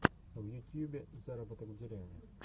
в ютьюбе заработок в деревне